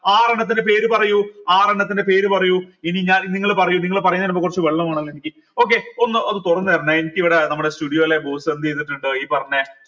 ആറെണ്ണത്തിന്റെ പേര് പറയൂ ആറെണ്ണത്തിന്റെ പേര് പറയൂ ഇനി ഞാൻ നിങ്ങൾ പറയൂ നിങ്ങൾ പറയണതിന് മുമ്പ് കുറച്ച് വെള്ളം വേണല്ലോ എനിക്ക് okay ഒന്ന് അത് തുറന്ന് തരണേ എനിക്ക് ഇവിടെ നമ്മടെ studio യിൽ ഈ പറഞ്ഞ